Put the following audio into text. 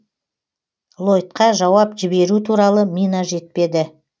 лойдқа жауап жіберу туралы мина жетпеді